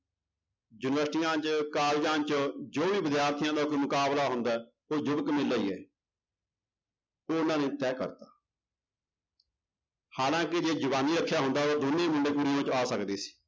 ਯੂਨਿਵਰਸਟੀਆਂ ਚ ਕਾਲਜਾਂ ਚ ਜੋ ਵੀ ਵਿਦਿਆਰਥੀਆਂ ਦਾ ਕੋਈ ਮੁਕਾਬਲਾ ਹੁੰਦਾ ਹੈ ਉਹ ਯੁਵਕ ਮੇਲਾ ਹੀ ਹੈ ਉਹਨਾਂ ਲਈ ਤੈਅ ਕਰਤਾ ਹਾਲਾਂਕਿ ਜੇ ਜਵਾਨੀ ਰੱਖਿਆ ਹੁੰਦਾ ਤਾਂ ਦੋਨੇਂ ਮੁੰਡੇ ਕੁੜੀਆਂ ਉਹ ਚ ਆ ਸਕਦੇ ਸੀ।